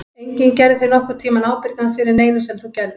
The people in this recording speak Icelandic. Enginn gerði þig nokkurn tímann ábyrgan fyrir neinu sem þú gerðir.